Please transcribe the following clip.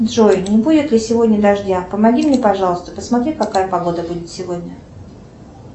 джой не будет ли сегодня дождя помоги мне пожалуйста посмотри какая погода будет сегодня